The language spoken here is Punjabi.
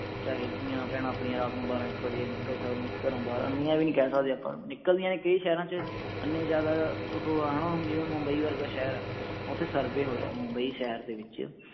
ਚਾਹੇ ਧੀਆਂ ਭੈਣਾਂ ਆਪਣੀਆਂ ਰਾਤ ਨੂੰ ਬਾਰਾਂ ਇਕ ਵਜੇ ਨਿਕਲ ਸਕਣ ਘਰੋਂ ਬਾਹਰ ਇੰਨੀਆਂ ਵੀ ਨਹੀਂ ਕਹਿ ਸਕਦੇ ਆਪਾਂ ਨਿਕਲਦੀਆਂ ਨੇ ਕਈ ਸ਼ਹਿਰਾਂ ਚ ਐਨੇ ਜਿਆਦਾ ਓਹੋ ਹਾ ਨਾ ਜਿਵੇਂ ਹੁਣ ਮੁੰਬਈ ਵਰਗਾ ਸ਼ਹਿਰ ਆ ਓਥੇ survey ਹੋਇਆ ਮੁੰਬਈ ਸ਼ਹਿਰ ਦੇ ਵਿਚ